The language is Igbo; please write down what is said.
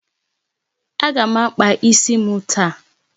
Aga m akpa isi m taa.